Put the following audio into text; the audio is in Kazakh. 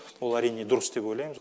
ол әрине дұрыс деп ойлаймыз